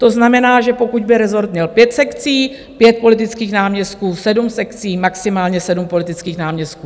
To znamená, že pokud by rezort měl pět sekcí, pět politických náměstků, sedm sekcí, maximálně sedm politických náměstků.